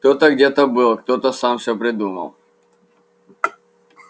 кто-то где-то был кто-то сам всё придумал